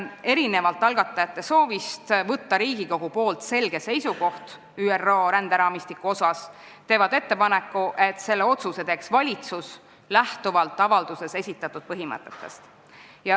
Erinevalt algatajate soovist, et Riigikogu võtaks selge seisukoha ÜRO ränderaamistiku suhtes, tehakse neis ettepanek, et selle otsuse teeks valitsus lähtuvalt avalduses esitatud põhimõtetest.